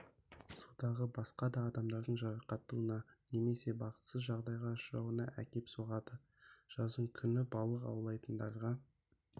судағы басқа да адамдардың жарақаттануына немесе бақытсыз жағдайға ұшырауына әкеп соғады жаздың күні балық аулайтындарға